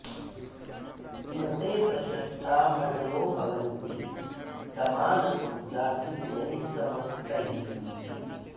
न ते प्रशस्ता मणयो भवन्ति समानतो जातिगुणैः समस्तैः